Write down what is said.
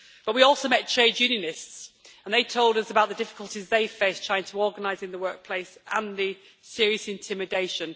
But we also met trade unionists, and they told us about the difficulties they face trying to organise in the workplace, and the serious intimidation.